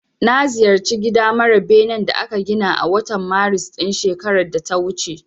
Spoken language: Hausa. Na ziyarci gida mara benen da aka gina a watan Maris ɗin shekarar da ta wuce.